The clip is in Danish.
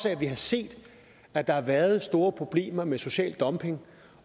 at vi har set at der været store problemer med social dumping